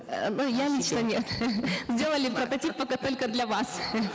э ну я лично нет сделали прототип пока только для вас